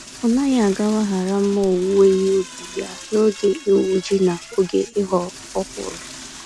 Ọnaghị agawa hara mma owuwe ihe ubi ya n'oge igwu-ji na oge ịghọ ọkwụrụ.